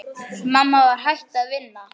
Mamma var hætt að vinna.